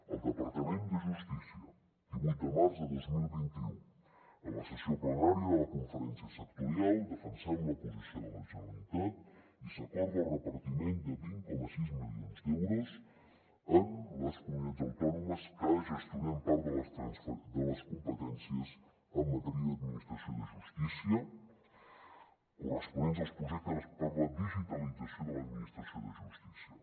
el departament de justícia divuit de març de dos mil vint u en la sessió plenària de la conferència sectorial defensem la posició de la generalitat i s’acorda el repartiment de vint coma sis milions d’euros a les comunitats autònomes que gestionem part de les competències en matèria d’administració de justícia corresponents als projectes per a la digitalització de l’administració de justícia